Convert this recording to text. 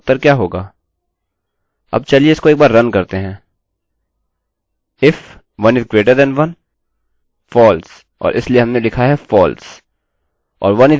अब चलिए इसको एक बार रन करते हैं if 1 is greater than 1 यदि 1 1 से बड़ा है false और इसलिए हमने लिखा है false or 1 is equal to 11 1 के बराबर है